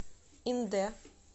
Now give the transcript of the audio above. индэ